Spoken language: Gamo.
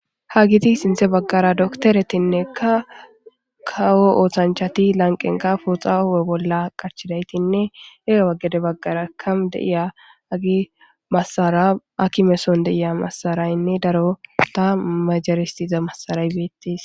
ha giti sinthe baggara doktoretinnekka kawo oothanchati lanqenka fuxahowe bolla qachidaytinne era waggede baggara kam deiya agi massara akimeson deiya massaraynne daro ta majaristiza massaray beettis